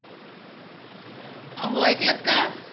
अहो ऐकलत का?